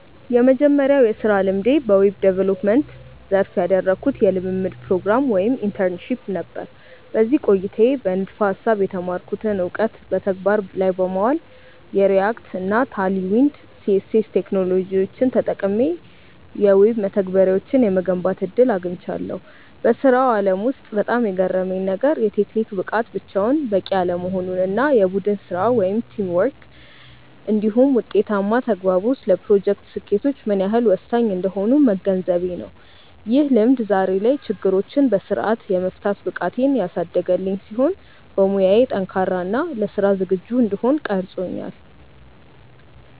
የመጀመሪያው የሥራ ልምዴ በዌብ ዲቨሎፕመንት (Web Development) ዘርፍ ያደረግኩት የልምምድ ፕሮግራም (Internship) ነበር። በዚህ ቆይታዬ በንድፈ-ሐሳብ የተማርኩትን እውቀት በተግባር ላይ በማዋል፣ የReact እና Tailwind CSS ቴክኖሎጂዎችን ተጠቅሜ የዌብ መተግበሪያዎችን የመገንባት ዕድል አግኝቻለሁ። በሥራው ዓለም ውስጥ በጣም የገረመኝ ነገር፣ የቴክኒክ ብቃት ብቻውን በቂ አለመሆኑ እና የቡድን ሥራ (Teamwork) እንዲሁም ውጤታማ ተግባቦት ለፕሮጀክቶች ስኬት ምን ያህል ወሳኝ እንደሆኑ መገንዘቤ ነው። ይህ ልምድ ዛሬ ላይ ችግሮችን በሥርዓት የመፍታት ብቃቴን ያሳደገልኝ ሲሆን፣ በሙያዬ ጠንካራ እና ለሥራ ዝግጁ እንድሆን ቀርጾኛል።